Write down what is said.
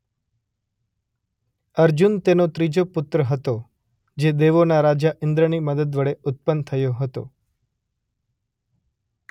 અર્જુન તેનો ત્રીજો પુત્ર હતો જે દેવોના રાજા ઈંદ્રની મદદ વડે ઉત્પન્ન થયો હતો.